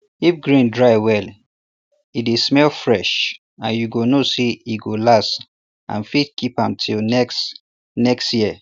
if grain dry well e dey smell fresh and you go know say e go last and fit keep am till next next year